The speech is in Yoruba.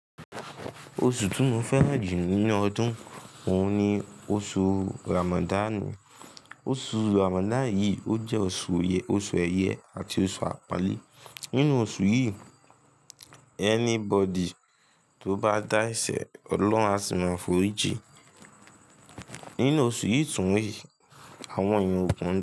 Oṣù tí mo fẹ́ràn jù nínú ọdún òun ni oṣù Ramadan. Oṣù Ramadan yẹn yìí, ó jẹ́ oṣù ẹ̀yẹ àti oṣù àpọ́nlé. Nínú oṣù yìí, anybody tó bá dá ẹsẹ̀ Ọlọ́run á sì máa forí jí. Nínú osun tun re àwọn eyan okan.